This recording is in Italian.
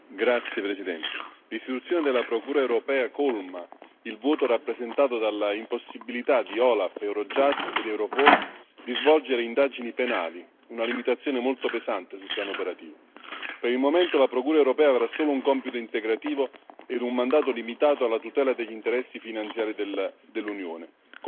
Signora Presidente, onorevoli colleghi, l'istituzione della Procura europea colma il vuoto rappresentato dall'impossibilità per OLAF, Eurojust ed Europol di svolgere indagini penali, una limitazione molto pesante sul piano operativo. Per il momento la Procura europea avrà solo un compito integrativo e un mandato limitato alla tutela degli interessi finanziari